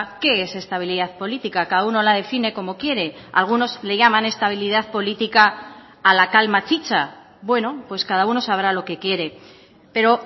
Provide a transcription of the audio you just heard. qué es estabilidad política cada uno la define como quiere algunos le llaman estabilidad política a la calma chicha bueno pues cada uno sabrá lo que quiere pero